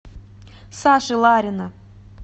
саши ларина